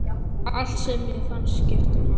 Allt sem mér fannst skipta máli.